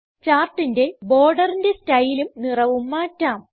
ചാർട്ടിന്റെ ബോർഡറിന്റെ സ്റ്റൈലും നിറവും മാറ്റാം